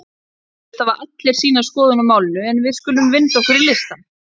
Eflaust hafa allir sína skoðun á málinu en við skulum vinda okkur í listann.